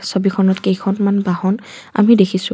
ছবিখনত কেইখনমান বাহন আমি দেখিছোঁ।